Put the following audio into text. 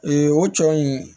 o tɔ in